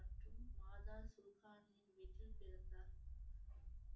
மற்றும் மாதா வயிற்றில் பிறந்தார்